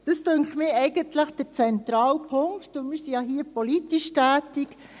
Dies dünkt mich eigentlich der zentrale Punkt, und wir sind ja hier politisch tätig.